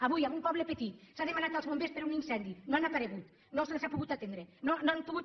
avui en un poble petit s’han demanat els bombers per un incendi no han aparegut no se’ls ha pogut atendre no han pogut